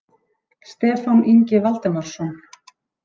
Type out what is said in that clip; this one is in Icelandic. Stefán Ingi Valdimarsson.